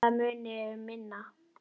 Það muni um minna.